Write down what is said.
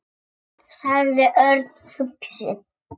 sagði Örn hugsi.